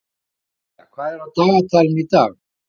Selja, hvað er á dagatalinu í dag?